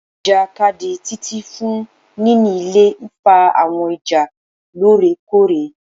Ijakadi Titi fun nini ilẹ nfa awọn ija loorekoore